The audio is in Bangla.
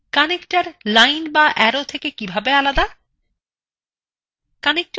connectors lines বা অ্যারো থেকে কিভাবে আলাদা